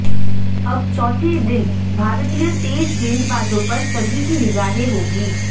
अब चौथे दिन भारतीय तेज गेंदबाजों पर सभी की निगाहें होंगी